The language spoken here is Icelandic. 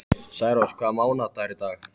Særós, hvaða mánaðardagur er í dag?